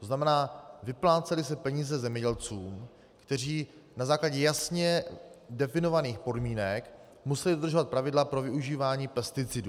To znamená, vyplácely se peníze zemědělcům, kteří na základě jasně definovaných podmínek museli dodržovat pravidla pro využívání pesticidů.